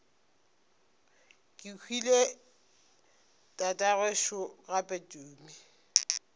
kehwile tatagwe šo gape tumi